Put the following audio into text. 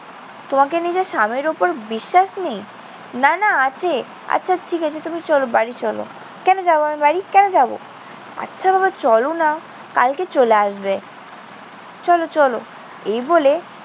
তোমার কি নিজের স্বামীর ওপর বিশ্বাস নেই? না না, আছে। আচ্ছা, ঠিক আছে। তুমি চল, বাড়ি চল। কেন যাব আমি বাড়ি? কেন যাব? আচ্ছা বাবা, চল না। কালকে চলে আসবে। চল, চল। এই বলে